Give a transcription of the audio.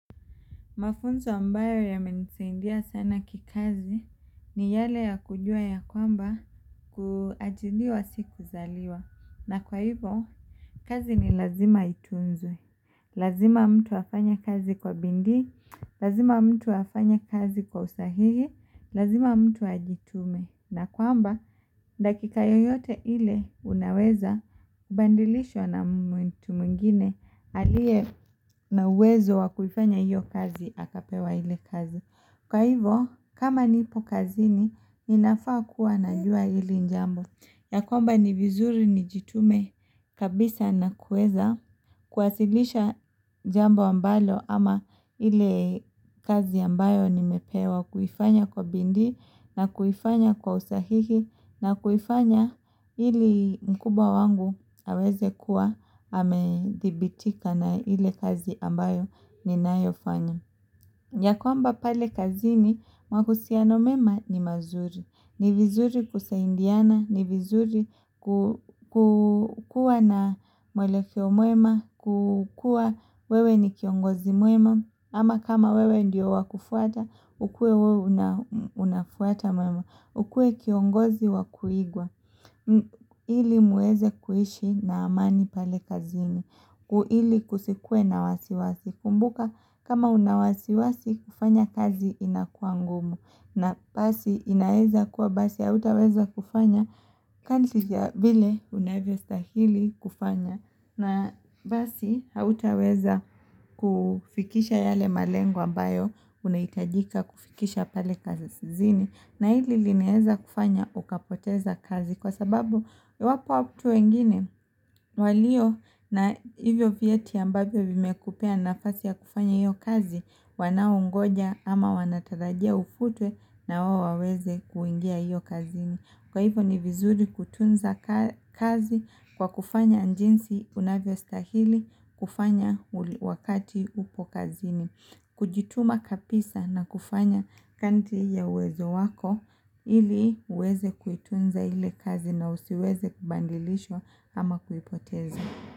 Mafunzo ambayo yamenisaidia sana kikazi ni yale ya kujua ya kwamba kuajiriwa si kuzaliwa. Na kwa hivyo, kazi ni lazima itunzwe. Lazima mtu afanye kazi kwa bidii, lazima mtu afanye kazi kwa usahihi, lazima mtu ajitume na kwamba dakika yoyote ile unaweza badilishwa na mwengine aliye na uwezo wa kuifanya hiyo kazi akapewa ile kazi. Kwa hivyo, kama nipo kazini, ninafaa kuwa najua hili jambo. Ya kwamba ni vizuri nijitume kabisa na kuweza kuwasilisha jambo ambalo ama ile kazi ambayo nimepewa kuifanya kwa bidii na kuifanya kwa usahihi na kuifanya ili mkubwa wangu aweze kuwa amedhibitika na ile kazi ambayo ninayofanya. Ya kwamba pale kazini mahusiano mema ni mazuri. Ni vizuri kusaidiana, ni vizuri ku kukuwa na mwelekeo mwema, kukua wewe ni kiongozi mwema, ama kama wewe ndiyo wa kufuata, ukuwe wewe unafuata mema. Ukue kiongozi wa kuigwa, ili muweze kuishi na amani pale kazini, ili kusikuwe na wasiwasi. Kumbuka kama una wasiwasi kufanya kazi inakuwa ngumu. Na pasi inaweza kuwa basi hautaweza kufanya kazi ya vile unavyostahili kufanya na basi hautaweza kufikisha yale malengo ambayo unahitajika kufikisha pale kazini na hili linaweza kufanya ukapoteza kazi kwa sababu iwapo watu wengine walio na hivyo vyeti ambavyo vimekupea nafasi ya kufanya hiyo kazi Wanaongoja ama wanatarajia ufutwe na wao waweze kuingia hiyo kazini. Kwa hivyo ni vizuri kutunza kazi kwa kufanya jinsi unavyostahili kufanya wakati upo kazini. Kujituma kapisa na kufanya kadri ya uwezo wako ili uweze kuitunza ile kazi na usiweze kubadilishwa ama kuipoteza.